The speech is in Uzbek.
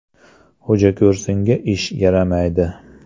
Xo‘jako‘rsinga ish yaramaydi.